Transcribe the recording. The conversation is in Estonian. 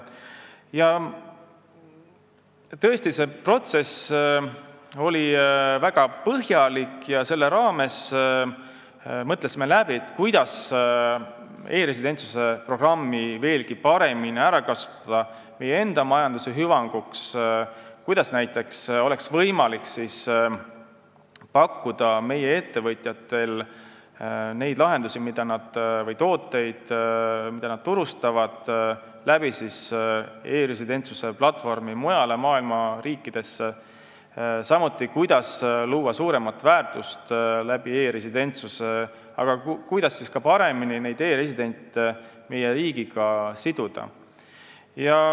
Tõesti, see protsess oli väga põhjalik ja me mõtlesime selle raames läbi, kuidas kasutada e-residentsuse programmi veelgi paremini ära meie enda majanduse hüvanguks, kuidas oleks võimalik meie ettevõtjatel pakkuda oma turustatavaid lahendusi või tooteid e-residentsuse platvormi kaudu mujale maailma riikidesse, samuti kuidas luua suuremat väärtust ning e-residente paremini meie riigiga siduda.